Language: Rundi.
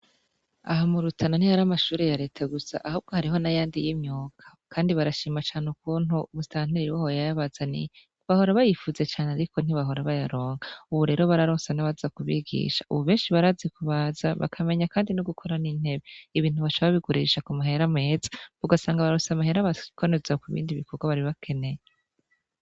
Aha murutana nti hari amashure yareta gusa ahubwo hariho na yandi y'imyuga, kandi barashima cane ukuntu umustantiri waho yayabazaniye bahora bayipfuza cane, ariko ntibahora bayaronka, ubu rero bararonse na baza ku bigisha, ubu benshi barazi ku baza bakamenya, kandi no gukora n’intebe ibintu bacaba biguririsha ku mahera meza ugasanga bararose amahera baa kanuza ku bindi bikorwa baribakeneye.